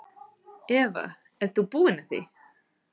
Eva: Ert þú búinn að því?